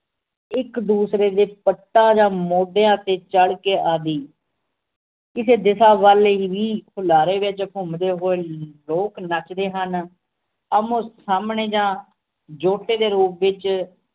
ਇਕ ਦੂਸਰੇ ਦੇ ਪਟਾਂ ਜਾਂ ਮੋਢਿਆਂ ਤੇ ਚੜ ਕੇ ਆਦਿ ਕਿਸੇ ਦੇ ਸਾਬ ਵੱਲ ਇਹੀ ਹੀ ਹੁਲਾਰੇ ਵਿਚ ਘੁੱਮਦੇ ਹੋਏ ਲੋਕ ਨੱਚਦੇ ਹਨ ਆਮੋ ਸਾਮਣੇ ਜਾਂ ਜੁੱਟ ਦੇ ਰੂਪ ਵਿਚ